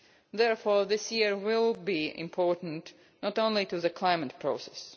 Therefore this year will be important, not only to the climate process.